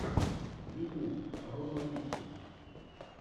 ютуб рома рикки